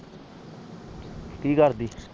ਕਿ ਕਰਦੀ